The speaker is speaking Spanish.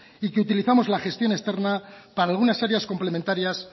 y que utilizamos la gestión externa para algunas áreas complementarias